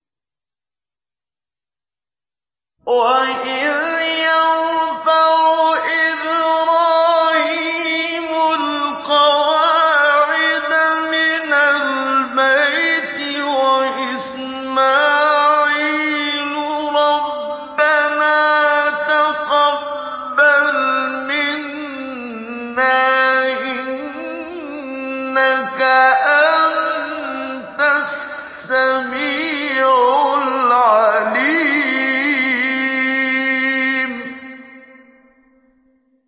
وَإِذْ يَرْفَعُ إِبْرَاهِيمُ الْقَوَاعِدَ مِنَ الْبَيْتِ وَإِسْمَاعِيلُ رَبَّنَا تَقَبَّلْ مِنَّا ۖ إِنَّكَ أَنتَ السَّمِيعُ الْعَلِيمُ